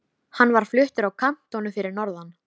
Hann var fluttur í kantónu fyrir norðan.